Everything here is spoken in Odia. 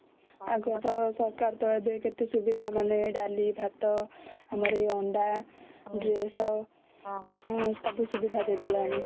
ସରକାର ଟା ଏବେ କେତେ ସୁବିଧା ମାନେ ଡାଲି ଭାତ ଆମର ଅଣ୍ଡା ଏଇ ଡ୍ରେସ ସବୁ ସୁବିଧା ଦେଇ ଦେଲାନି